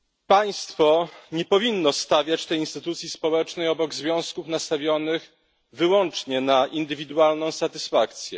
Państwo nie powinno stawiać tej instytucji społecznej obok związków nastawionych wyłącznie na indywidualną satysfakcję.